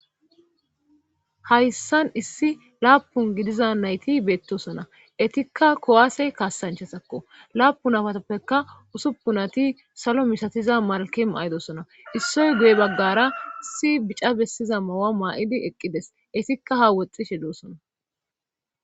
Hayssan issi laapun gidiza nayti beettosona etikka kowaase kaassanchesakko laapun afatappeka usuppun ati salo mishatiza malke maydosona issoy guye baggara issi bica bessiza mawa maa'idi eqqides issikka ha woxxishe doosona